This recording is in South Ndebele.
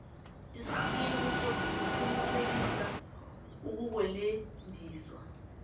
isikimu sokuqinisekisa ukukwelediswa